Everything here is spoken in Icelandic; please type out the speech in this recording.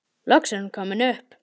Loks er hún komin upp.